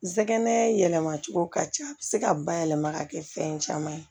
Sɛgɛnɛ yɛlɛma cogo ka ca a bi se ka bayɛlɛma ka kɛ fɛn caman ye